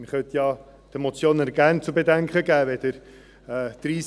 Man könnte ja den Motionären ergänzend zu bedenken geben: